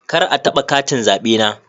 Kar a taba katin zabe na.